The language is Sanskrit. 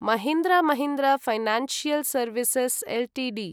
Mahindra Mahindra financial services Ltd